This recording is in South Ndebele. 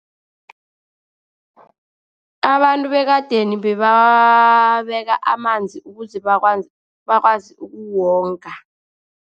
Abantu bekadeni bebabeka amanzi, ukuze bakwazi ukuwonga.